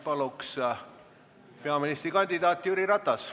Palun, peaministrikandidaat Jüri Ratas!